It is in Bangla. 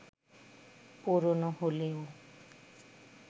পুরনো হলেও